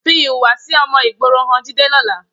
Fi ìhùwàsí ọmọ ìgboro han Jídé lọ́la.